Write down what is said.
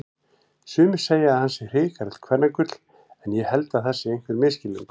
Sumir segja að hann sé hrikalegt kvennagull en ég held það sé einhver misskilningur.